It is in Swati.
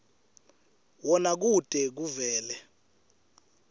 wona kute kuvele